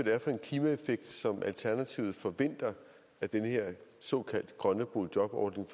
er for en klimaeffekt som alternativet forventer af den her såkaldt grønne boligjobordning